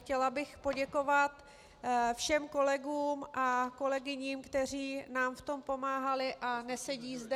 Chtěla bych poděkovat všem kolegům a kolegyním, kteří nám v tom pomáhali a nesedí zde.